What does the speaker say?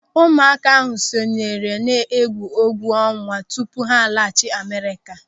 Ụmụaka ahụ sonyere n'egwuọnwa tupu ha laghachi Amerịka.